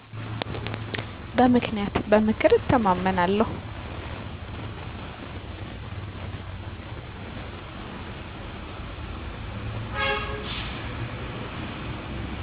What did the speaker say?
በምክንያት። በምክር እተማመናለሁ